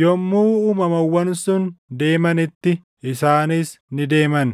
Yommuu uumamawwan sun deemanitti isaanis ni deeman;